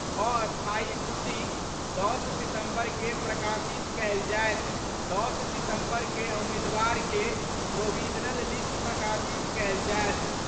अस्थायी सूची 10 सितंबर कें प्रकाशित कयल जाएत : 10 सितंबर क' उम्मीदवार के प्रोविजनल लिस्ट प्रकाशित कयल जाएत।